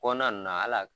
Kɔnɔna na hal'a